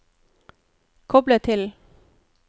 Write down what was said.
koble til